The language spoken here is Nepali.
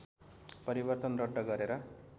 परिवर्तन रद्द गरेर